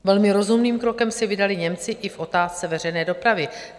Velmi rozumným krokem se vydali Němci i v otázce veřejné dopravy.